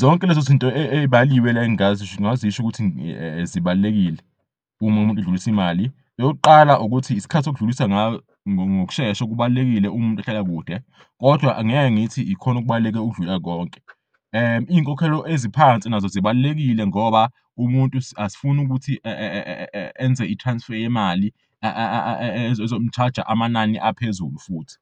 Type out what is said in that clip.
Zonke lezi zinto ey'baliwe la engingazisho ngazisho ukuthi zibalulekile um'umuntu edlulis'imali. Eyokuqala ukuthi isikhathi odlulisa ngayo ngokushesha kubalulekile uma umuntu ehlala kude kodwa angeke ngithi ikhon'okubalulekile ukudlula konke izinkokhelo eziphansi nazo zibalulekile ngoba umuntu asifuni ukuthi enze i-transfer yemali ezomu-charge-a amanani aphezulu futhi.